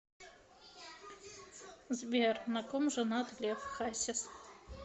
сбер на ком женат лев хасис